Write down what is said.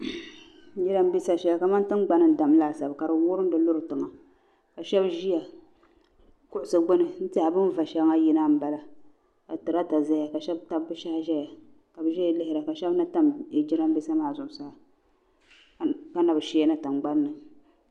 Jiraabiisa shɛli kamani tingbani n vurigira ka shɛbi ʒeya kuɣusi gbuni n tɛha bin va shɛŋa yina m bala ka taraata ʒiya ka shɛb tabi bɛ shɛhi n ʒeya lihiri ba ka shɛbi na tam jiraanbiisa maa zuɣu kana bi shɛɛna tingbani.